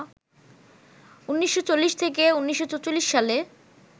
১৯৪০ থেকে ১৯৪৪ সালে